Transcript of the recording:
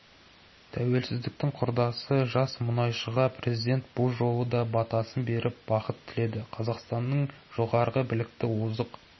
тәуелсіздіктің құрдасы жас мұнайышыға президент бұл жолы да батасын беріп бақыт тіледі қазақстаннның жоғары білікті озық